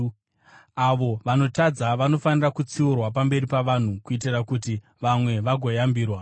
Avo vanotadza vanofanira kutsiurwa pamberi pavanhu, kuitira kuti vamwe vagoyambirwa.